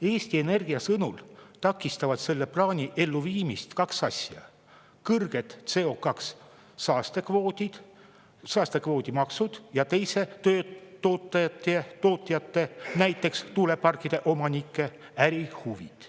Eesti Energia sõnul takistavad selle plaani elluviimist kaks asja: kõrged CO2-saaste kvoodi maksud ja tootjate, näiteks tuuleparkide omanike ärihuvid.